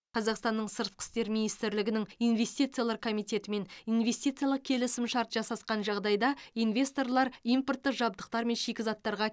қазықстанның сыртқы істер министрлігінің инвестициялар комитетімен инвестициялық келісімшарт жасасқан жағдайда инвесторлар импорттық жабдықтар мен шикізаттарға